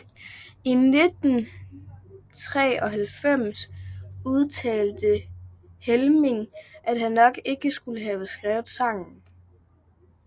I 1993 udtalte Helmig at han nok ikke skulle have skrevet sangen